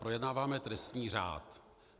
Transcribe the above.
Projednáváme trestní řád.